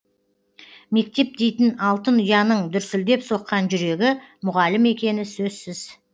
мектеп дейтін алтын ұяның дүрсілдеп соққан жүрегі мұғалім екені сөзсіз